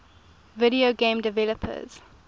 video game developers